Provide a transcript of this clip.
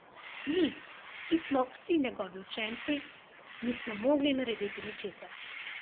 Mi, ki smo vsi njegovi učenci, nismo mogli narediti ničesar.